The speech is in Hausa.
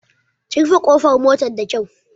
Ki rufe ƙofar motar da kyau!